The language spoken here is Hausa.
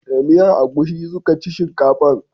Da miyan agushi suka ci shinkafan